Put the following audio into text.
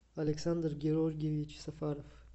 александр георгиевич сафаров